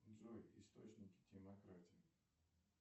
джой источники демократии